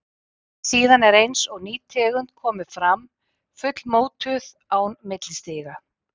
Síðan er eins og ný tegund komi fram, fullmótuð, án millistiga.